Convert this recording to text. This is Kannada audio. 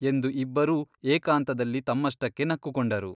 ಎಂದು ಇಬ್ಬರೂ ಏಕಾಂತದಲ್ಲಿ ತಮ್ಮಷ್ಟಕ್ಕೆ ನಕ್ಕುಕೊಂಡರು.